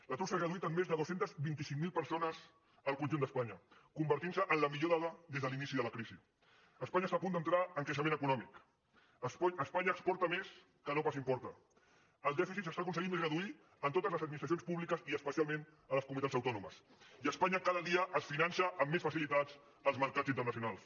l’atur s’ha reduït en més de dos cents i vint cinc mil persones al conjunt d’espanya i s’ha convertit en la millor dada des de l’inici de la crisi espanya està a punt d’entrar en creixement econòmic espanya exporta més que no pas importa el dèficit s’està aconseguint reduir en totes les administracions públiques i especialment en les comunitats autònomes i espanya cada dia es finança amb més facilitats als mercats internacionals